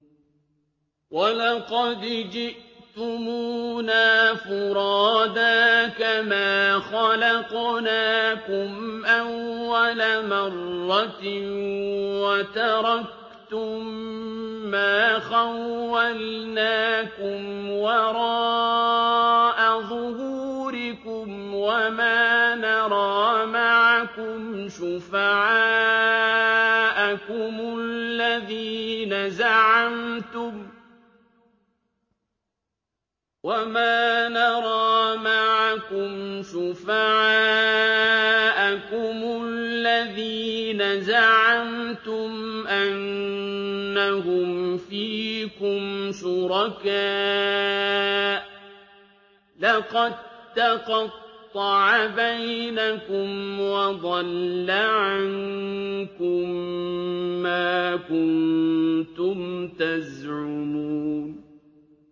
وَلَقَدْ جِئْتُمُونَا فُرَادَىٰ كَمَا خَلَقْنَاكُمْ أَوَّلَ مَرَّةٍ وَتَرَكْتُم مَّا خَوَّلْنَاكُمْ وَرَاءَ ظُهُورِكُمْ ۖ وَمَا نَرَىٰ مَعَكُمْ شُفَعَاءَكُمُ الَّذِينَ زَعَمْتُمْ أَنَّهُمْ فِيكُمْ شُرَكَاءُ ۚ لَقَد تَّقَطَّعَ بَيْنَكُمْ وَضَلَّ عَنكُم مَّا كُنتُمْ تَزْعُمُونَ